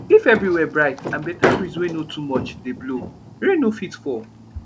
if everywhere bright and better breeze wey no too much dey blow rain no fit fall